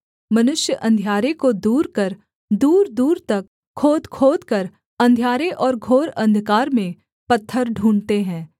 मनुष्य अंधियारे को दूर कर दूरदूर तक खोदखोदकर अंधियारे और घोर अंधकार में पत्थर ढूँढ़ते हैं